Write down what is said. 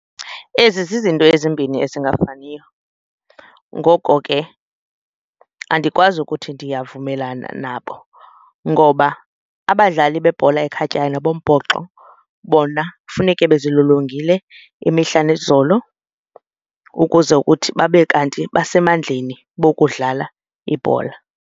Ezi zizinto ezimbini esingafaniyo ngoko ke andikwazi ukuthi ndiyavumelana nabo ngoba abadlali bebhola ekhatywayo nabombhoxo bona kufuneke bezilolongile imihla nezolo ukuze kuthi babe kanti basemandleni bokudlala ibhola.